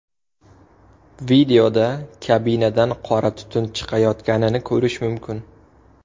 Videoda kabinadan qora tutun chiqayotganini ko‘rish mumkin.